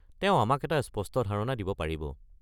তেওঁ আমাক স্পষ্ট ধাৰণা এটা দিব পাৰিব।